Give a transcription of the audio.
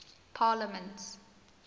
parliaments